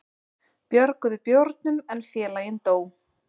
Björguðu bjórnum en félaginn dó